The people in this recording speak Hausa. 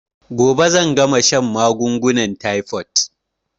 Gobe zan gama shan magungunan taifot